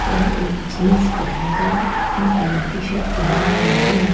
यह एक जींस पहेनकर पिंक कलर की शर्ट पहने हुआ है।